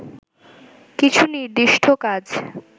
কিছু নির্দিষ্ট কাজ